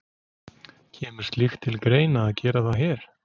Kemur slíkt til greina að gera það hér?